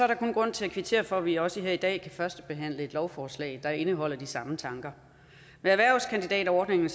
der kun grund til at kvittere for at vi også her i dag kan førstebehandle et lovforslag der indeholder de samme tanker med erhvervskandidatordningen